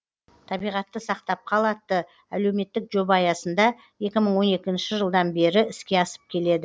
табиғатты сақтап қал атты әлеуметтік жоба аясында екі мың он екінші жылдан бері іске асып келеді